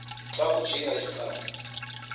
xa kujinga isigcawu